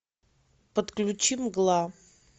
подключи мгла